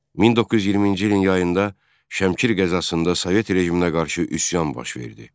1920-ci ilin yayında Şəmkir qəzasında Sovet rejiminə qarşı üsyan baş verdi.